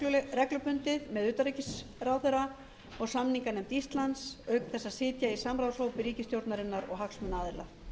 reglubundið með utanríkisráðherra og samninganefnd íslands auk þess að sitja í samráðshópi ríkisstjórnarinnar og hagsmunaaðila